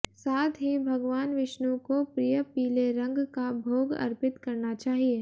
साथ ही भगवान विष्णु को प्रिय पीले रंग का भोग अर्पित करना चाहिए